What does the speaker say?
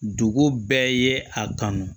Dugu bɛɛ ye a kanu